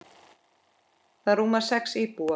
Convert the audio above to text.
Það rúmar sex íbúa.